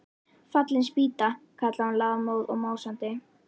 Fallin spýta! kallaði hún lafmóð og másandi.